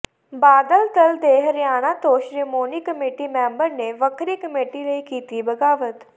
ਬਾਦਲ ਦਲ ਦੇ ਹਰਿਆਣਾ ਤੋਂ Shiromani committee member ਨੇ ਵੱਖਰੀ ਕਮੇਟੀ ਲਈ ਕੀਤੀ ਬਗਾਵਤ